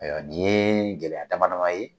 Ayiwa nin ye gɛlɛya dama dama ye